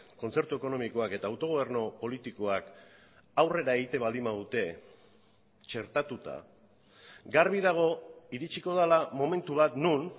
kontzertu ekonomikoak eta autogobernu politikoak aurrera egiten baldin badute txertatuta garbi dago iritsiko dela momentu bat non